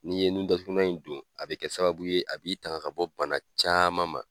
Ni ye nun datugu na in don, a bi kɛ sababu ye, a b'i tanga ka bɔ bana caman ma.